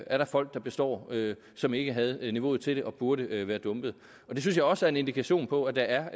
er folk der består som ikke havde niveauet til det og som burde være dumpet det synes jeg også er en indikation på at der er